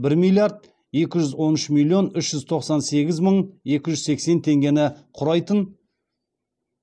бір миллиард екі жүз он үш миллион үш жүз тоқсан сегіз мың екі жүз сексен теңгені құрайтын